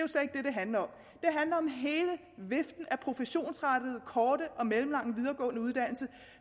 handler om hele viften af professionsrettede korte og mellemlange videregående uddannelser